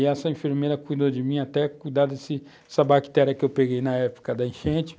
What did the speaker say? E essa enfermeira cuidou de mim, até cuidar desse, dessa bactéria que eu peguei na época da enchente.